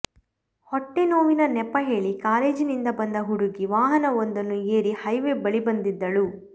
ಹೊಟ್ಟೆ ನೋವಿನ ನೆಪ ಹೇಳಿ ಕಾಲೇಜಿನಿಂದ ಬಂದ ಹುಡುಗಿ ವಾಹನವೊಂದನ್ನು ಏರಿ ಹೈವೆ ಬಳಿ ಬಂದಿದ್ದಳು